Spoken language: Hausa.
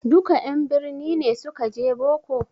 Duka en birni ne suka je boko?